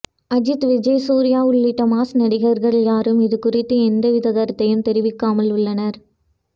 அஜித் விஜய் சூர்யா உள்பட மாஸ் நடிகர்கள் யாரும் இது குறித்து எந்தவித கருத்தையும் தெரிவிக்காமல் உள்ளனர்